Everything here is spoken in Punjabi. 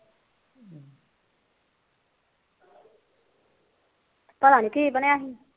ਪਤਾ ਨੀ ਕੀ ਬਣਿਆ